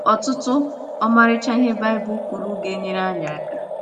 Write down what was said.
Otụtụ ọmarịcha ihe Baịbụl kwuru ga - enyere anyị aka.